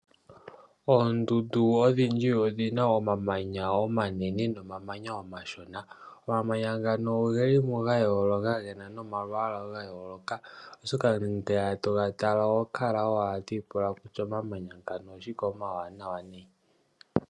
Oondundu odhindji odhina omamanya Omashona ga yooloka oshoka ngele to ga tala ohokala owala to ipula kutya omamanya ngano oshike omawanawa .